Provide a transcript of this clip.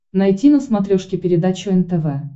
найти на смотрешке передачу нтв